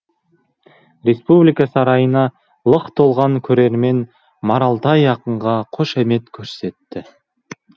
республика сарайына лық толған көрермен маралтай ақынға қошемет көрсетті